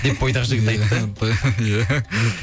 деп бойдақ жігіт айтты иә